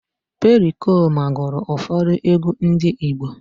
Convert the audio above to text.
Perikoma gụrụ ụfọdụ egwú ndị Igbo